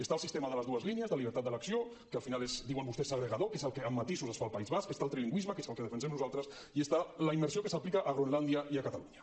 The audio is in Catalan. hi ha el sistema de les dues línies de llibertat d’elecció que al final és diuen vostès segregador que és el que amb matisos es fa al país basc està el trilingüisme que és el que defensem nosaltres i està la immersió que s’aplica a groenlàndia i a catalunya